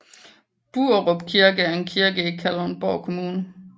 Buerup Kirke er en kirke i Kalundborg Kommune